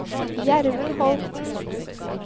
Gjermund Holten